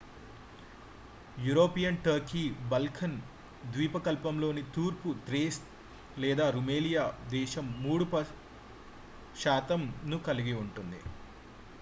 European Turkey Balkan ద్వీపకల్పంలోని తూర్పు Thrace లేదా రుమేలియా దేశం 3% ను కలిగి ఉంది